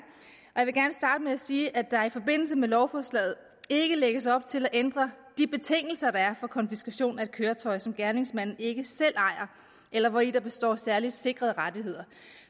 starte med at sige at der i forbindelse med lovforslaget ikke lægges op til at ændre de betingelser der er for konfiskation af et køretøj som gerningsmanden ikke selv ejer eller hvori der består særligt sikrede rettigheder